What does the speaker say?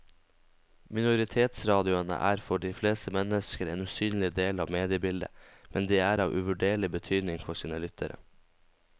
Minoritetsradioene er for de fleste mennesker en usynlig del av mediebildet, men de er av uvurderlig betydning for sine lyttere.